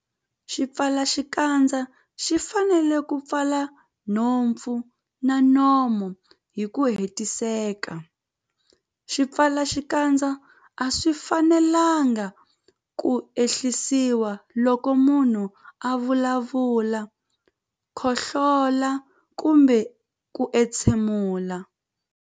Xipfalaxikandza xi fanele ku pfala nhompfu na nomo hi ku hetiseka. Swipfalaxikandza a swi fanelanga ku ehlisiwa loko munhu a vulavula, khohlola kumbe ku entshemula.